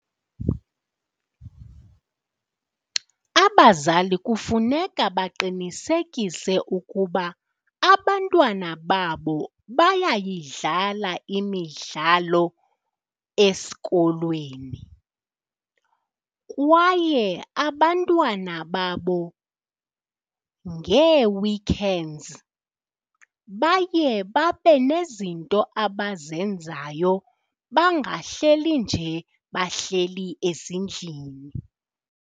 Abazali kufuneka baqinisekise ukuba abantwana babo bayayidlala imidlalo esikolweni kwaye abantwana babo ngee-weekends baye babe nezinto abazenzayo bangahleli nje bahleli ezindlini.